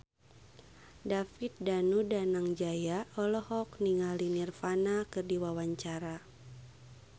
David Danu Danangjaya olohok ningali Nirvana keur diwawancara